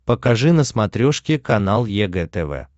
покажи на смотрешке канал егэ тв